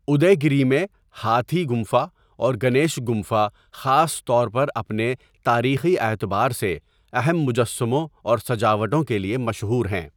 اُدے گری میں، ہاتھی گُمفا اور گنیش گُمفا خاص طور پر اپنے تاریخی اعتبار سے اہم مجسموں اور سجاوٹوں کے لیے مشہور ہیں۔